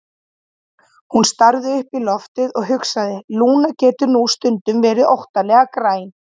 Hún starði upp í loftið og hugsaði: Lúna getur nú stundum verið óttalega græn.